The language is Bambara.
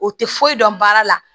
O tɛ foyi dɔn baara la